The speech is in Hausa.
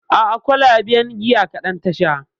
A'a kwalaben giya kaɗan ta sha